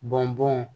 Bɔn bɔn